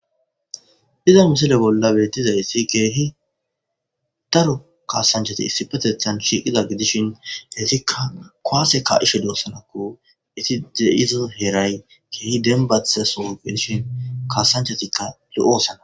hiza misile bolla beettizayssi geehi daro kaasanchati issipetethan shiiqida gidishin hesikka kuwase ka'she duossanakko iti deyizi heray geehi denbathita soh gidishin kaasanchatikka lo7osana